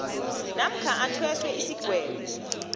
namkha athweswe isigwebo